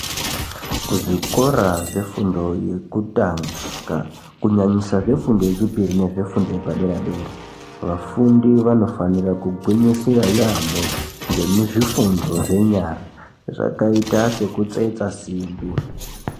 Kuzvikora zvefundo yekutanga kunyanyisa zvefundo yechipiri nezvefundo yepadera dera vafundi vanofanira kugwinyisira yamo ngezvifundo zvenyara zvakaita sekutsetsa simbi.